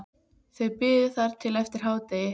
Þau biðu þar til eftir hádegi.